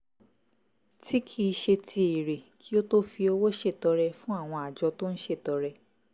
tí kì í ṣe ti èrè kí ó tó fi owó ṣètọrẹ fún àwọn àjọ tó ń ṣètọrẹ